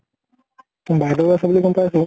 উম বাইদেউ আছে বুলি গম পাইছো।